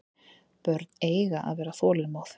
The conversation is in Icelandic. Börn eiga að vera þolinmóð.